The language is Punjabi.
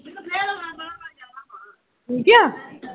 ਠੀਕ ਆ